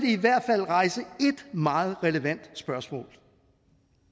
i hvert fald rejse et meget relevant spørgsmål